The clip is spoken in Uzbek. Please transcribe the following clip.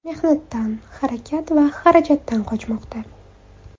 Mehnatdan, harakat va xarajatdan qochmoqda.